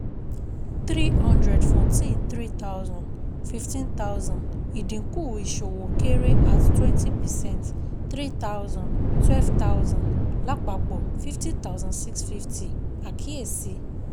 Three hundred fún tin three thousand fifteen thousand ìdínkù Ìṣòwò Kéré at twenty percent three thousand twelve thousand lapapọ̀ fifty thousand six fifty Àkíyèsi